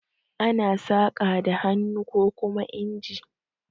Ana saƙa da hannu kokuma inji.